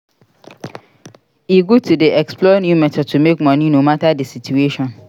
E good to dey explore new methods to make money no matter di situation.